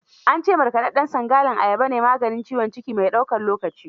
An ce markaɗaɗɗen sangalin ayaba ne maganin ciwon ciki mai daukan lokaci.